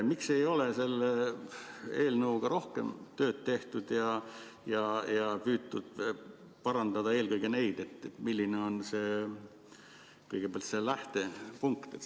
Miks ei ole selle eelnõuga rohkem tööd tehtud ja püütud parandada eelkõige seda, milline on kõigepealt see lähtepunkt?